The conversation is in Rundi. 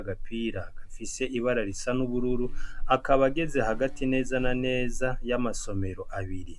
agapira gafise ibara risa n'ubururu akaba ageze hagati neza na neza ya masomero abiri.